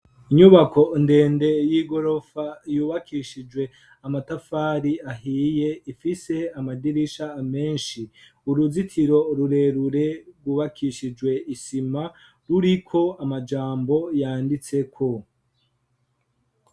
Inyubako ndende y'igorofa yubakishijwe amatafari ahiye ifise amadirisha menshi. Uruzitiro rurerure rwubakishijwe isima ruriko amajambo yanditseko.